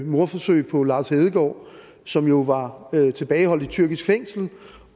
mordforsøget på lars hedegaard som jo var tilbageholdt i tyrkisk fængsel